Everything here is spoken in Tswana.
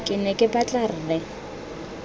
ke ne ke batla rre